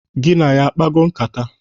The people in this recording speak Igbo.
Gị na ya akpago nkata?